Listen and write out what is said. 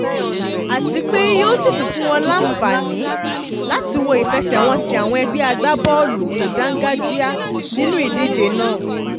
àti pé yóò sì tún fún wọn láǹfàní um láti wo ìfẹsẹ̀wọnsẹ̀ àwọn ẹgbẹ́ agbábọ́ọ̀lù tó dáńgájíá nínú um ìdíje náà